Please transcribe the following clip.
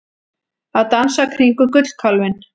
Að dansa kringum gullkálfinn